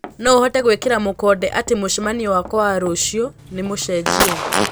noũhote gwikira mũkonde ati mucemanio wakwa wa rũcĩũ ni mucenjie